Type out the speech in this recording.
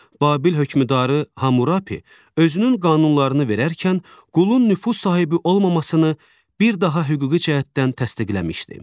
Babil hökmdarı Hammurapi özünün qanunlarını verərkən qulun nüfuz sahibi olmamasını bir daha hüquqi cəhətdən təsdiqləmişdi.